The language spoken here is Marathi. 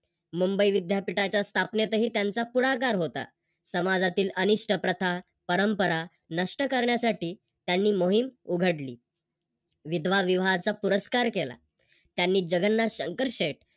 मुंबई विद्यापीठाच्या स्थापनेत त्यांचा पुढाकार होता. समाजातील अनिष्ट प्रथा, परंपरा नष्ट करण्यासाठी त्यांनी मोहीम उघडली. विधवा विवाहाचा पुरस्कार केला. त्यांनी जगन्नाथ शंकरशेट